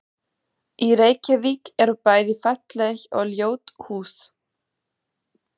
Í Reykjavík eru bæði falleg og ljót hús.